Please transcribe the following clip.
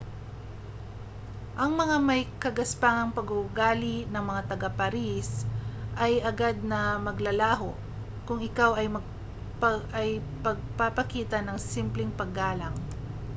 ang may-kagaspangang pag-uugali ng mga taga-paris ay agad na maglalaho kung ikaw ay pagpapakita ng simpleng paggalang